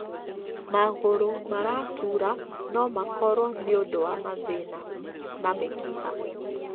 Magũrũ maratura no makorwo nĩ ũndũ wa mathĩna na mĩkiha.